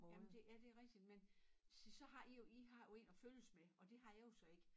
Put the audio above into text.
Jamen det ja det rigtig men se så har i jo i har jo en at følges og det har jeg jo så ik